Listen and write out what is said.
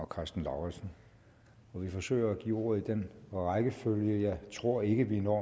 karsten lauritzen vi forsøger at give ordet i den rækkefølge jeg tror ikke vi når